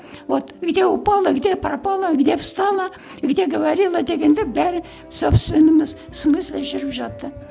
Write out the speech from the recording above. вот где упала где пропала где встала где говорила дегенде бәрі смысле жүріп жатты